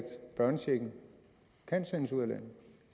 børnechecken kan sendes ud af landet